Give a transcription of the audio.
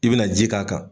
I bina ji k'a kan